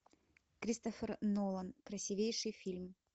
кристофер нолан красивейший фильм